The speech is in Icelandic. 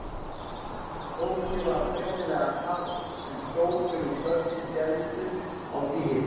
Fólki var greinilega kalt en hrópin og köllin héldu á því hita.